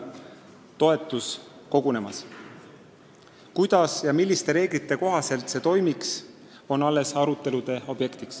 Kuidas, milliste reeglite kohaselt see toimiks, on alles arutelude objekt.